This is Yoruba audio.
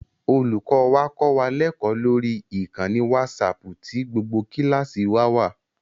Olùkọ́ wa kọ́ wa lẹ́kọ̀ọ́ lórí ìkànnì wásaaàpù tí gbogbo kíláàsì wa wà